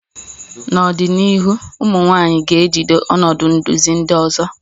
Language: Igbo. N'ọdịnihu, ụmụ nwanyị ga-ejide ọnọdụ nduzi ndị ọzọ